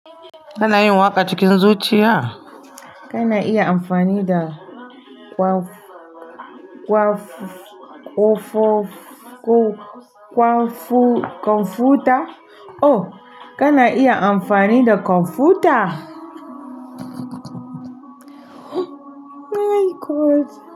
Kana yin waƙa cikin zuciya? Kana iya amfani da kwamfuta? Oh, kana iya amfani da kwamfuta? Ai, God.